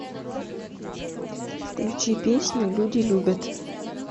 включи песню люди любят